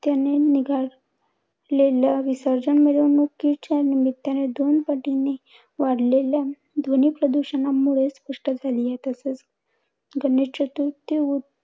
निघालेल्या विसर्जन मिरवणुकीच्या निमित्ताने दोन पटीने वाढलेल्या ध्वनी प्रदूषणामुळेच ध्वनी प्रदूषणामुळे स्पष्ट झाली आहे. तसेच गणेश चतुर्थी